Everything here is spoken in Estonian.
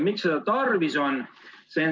Miks seda tarvis on?